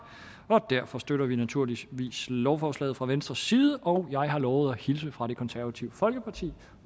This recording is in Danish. og derfor støtter vi naturligvis lovforslaget fra venstres side og jeg har lovet at hilse fra det konservative folkeparti